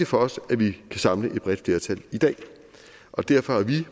for os at vi kan samle et bredt flertal i dag og derfor har vi